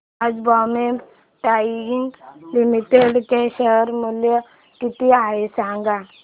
आज बॉम्बे डाईंग लिमिटेड चे शेअर मूल्य किती आहे सांगा